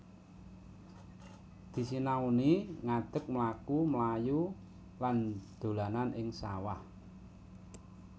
Disinauni ngadek mlaku mlayu lan dolanan ing sawah